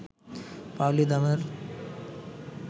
পাওলী দামের